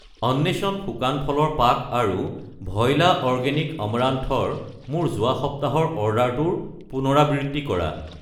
অন্বেষণ শুকান ফলৰ পাক আৰু ভইলা অৰ্গেনিক অমৰান্থ ৰ মোৰ যোৱা সপ্তাহৰ অৰ্ডাৰটোৰ পুনৰাবৃত্তি কৰা।